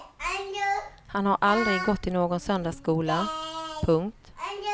Han har aldrig gått i någon söndagsskola. punkt